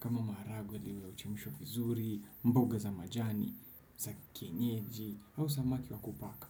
Kama maharagwe yaliyo chemshwa vizuri, mboga za majani, za kienyeji, au samaki wa kupaka.